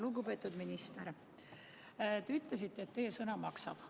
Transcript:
Lugupeetud minister, te ütlesite, et teie sõna maksab.